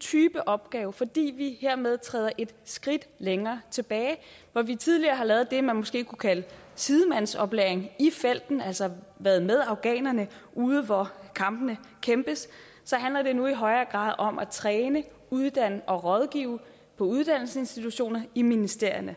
type opgave fordi vi hermed træder et skridt længere tilbage hvor vi tidligere har lavet det man måske kunne kalde sidemandsoplæring i felten altså været med afghanerne ude hvor kampene kæmpes så handler det nu i højere grad om at træne uddanne og rådgive på uddannelsesinstitutioner i ministerierne